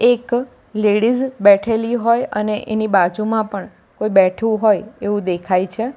એક લેડીઝ બેઠેલી હોય અને એની બાજુમાં પણ કોઈ બેઠું હોય એવું દેખાય છે.